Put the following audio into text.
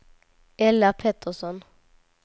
Ella Pettersson